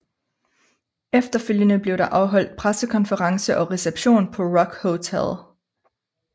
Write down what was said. Efterfølgende blev der afholdt pressekonference og reception på Rock Hotel